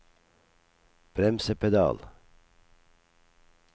bremsepedal